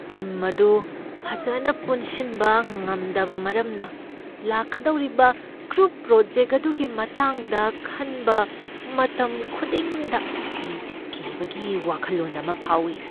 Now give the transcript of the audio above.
Team ꯑꯗꯨ ꯐꯖꯅ ꯄꯨꯟꯁꯤꯟꯕ ꯉꯝꯗꯕ ꯃꯔꯝꯅ ꯂꯥꯛꯀꯗꯧꯔꯤꯕ ꯒ꯭ꯔꯨꯞ ꯄ꯭ꯔꯣꯖꯦꯛ ꯑꯗꯨꯒꯤ ꯃꯇꯥꯡꯗ ꯈꯟꯕ ꯃꯇꯝꯈꯨꯗꯤꯡꯗ ꯑꯩ ꯀꯤꯕꯒꯤ ꯋꯥꯈꯜꯂꯣꯟ ꯑꯃ ꯐꯥꯎꯏ ꯫